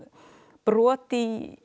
brot í